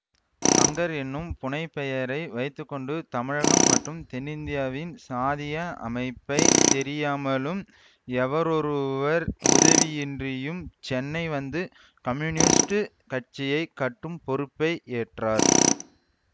சங்கர் என்னும் புனை பெயரை வைத்து கொண்டு தமிழகம் மற்றும் தென்னிந்தியாவின் சாதிய அமைப்பை தெரியாமலும் எவரொருவர் உதவியின்றியும் சென்னை வந்து கம்யூனிஸ்டு கட்சியை கட்டும் பொறுப்பை ஏற்றார்